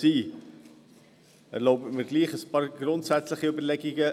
Ich erlaube mir dazu ein paar grundsätzliche Überlegungen.